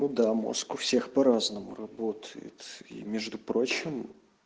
ну да мозг у всех по-разному работает и между прочим